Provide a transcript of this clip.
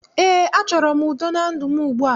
Ee, achọrọ m udo na ndụ m ugbua